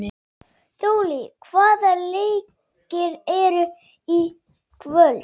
Þollý, hvaða leikir eru í kvöld?